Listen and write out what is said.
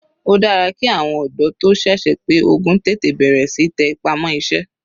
Ó dára ki àwọn ọ̀dọ́ tó sẹ̀sẹ̀ pé ogún tètè bẹ̀rẹ̀ síí tẹ ipá mọ́ iṣẹ́.